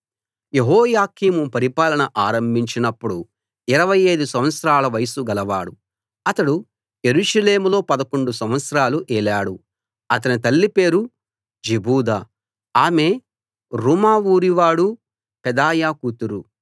యెహోయాకీము పరిపాలన ఆరంభించినప్పుడు 25 సంవత్సరాల వయస్సు గలవాడు అతడు యెరూషలేములో 11 సంవత్సరాలు ఏలాడు అతని తల్లి పేరు జెబూదా ఆమె రూమా ఊరి వాడు పెదాయా కూతురు